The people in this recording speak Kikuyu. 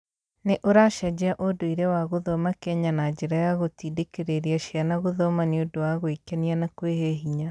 Nĩ ũracenjia ũndũire wa gũthoma Kenya na njĩra ya gũtindĩkĩrĩria ciana gũthoma nĩ ũndũ wa gwĩkenia na kwĩhe hinya.